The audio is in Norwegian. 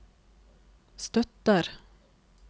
støtter